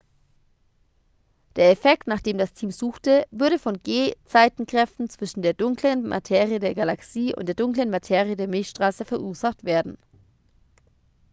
der effekt nach dem das team suchte würde von gezeitenkräften zwischen der dunklen materie der galaxie und der dunklen materie der milchstraße verursacht werden